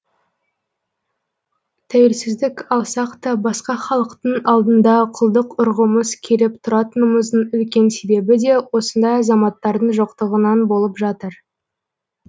тәуелсіздік алсақ та басқа халықтың алдында құлдық ұрғымыз келіп тұратынымыздың үлкен себебі де осындай азаматтардың жоқтығынан болып жатыр